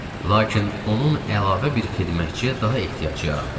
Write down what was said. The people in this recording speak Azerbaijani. Lakin onun əlavə bir xidmətçiyə daha ehtiyacı yarandı.